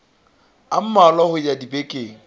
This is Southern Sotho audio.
a mmalwa ho ya dibekeng